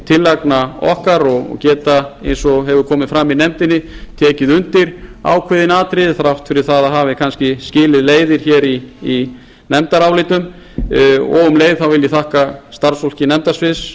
tillagna okkar og geta eins og komið hefur fram í nefndinni tekið undir ákveðin atriði þrátt fyrir að það hafi kannski skilið leiðir hér í nefndarálitum og um leið þá vil ég þakka starfsfólki nefndasviðs